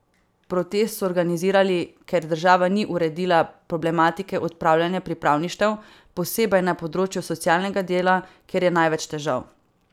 Protest so organizirali, ker država ni uredila problematike opravljanja pripravništev, posebej na področju socialnega dela, kjer je največ težav.